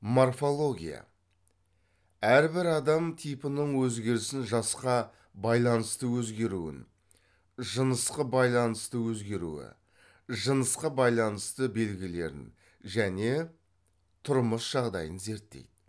морфология әрбір адам типінің өзгерісін жасқа байланысты өзгеруін жынысқы байланысты өзгеруі жынысқа байланысты белгілерін және тұрмыс жағдайын зерттейді